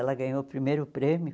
Ela ganhou o primeiro prêmio.